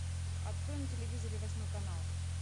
открой на телевизоре восьмой канал